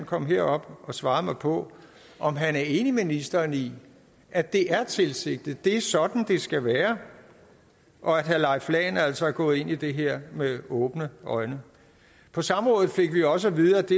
kom herop og svarede mig på om han er enig med ministeren i at det er tilsigtet og at det er sådan det skal være og at herre leif lahn jensen altså er gået ind i det her med åbne øjne på samrådet fik vi også at vide at det